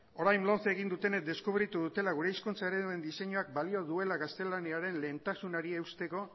orain lomce egin dutenek deskubritu dutela gure hizkuntza ereduen diseinuak balio duela gaztelaniaren lehentasunari eusteko